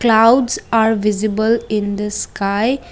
clouds are visible in the sky.